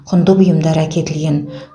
құнды бұйымдар әкетілген